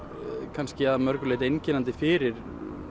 kannski að mörgu leyti einkennandi fyrir